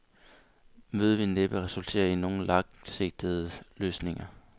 Mødet vil næppe resultere i nogen langsigtede løsninger.